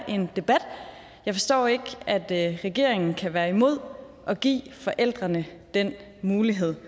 en debat jeg forstår ikke at regeringen kan være imod at give forældrene den mulighed